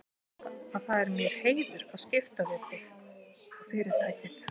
Þú veist að það er mér heiður að skipta við þig og Fyrirtækið.